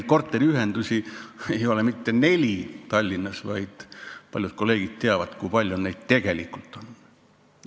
Ja korteriühendusi ei ole Tallinnas mitte neli, paljud teist teavad, kui palju neid tegelikult on.